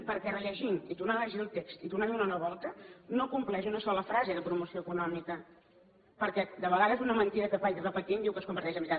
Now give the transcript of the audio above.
perquè rellegint i tornant a llegir el text i tornant a donar la volta no compleix una sola frase de promoció econòmica perquè de vegades una mentida que es vagi repetint diu que es converteix en veritat